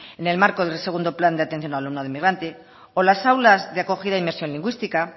en el marco del segundo plan de atención al alumnado inmigrante o las aulas de acogida de inmersión lingüística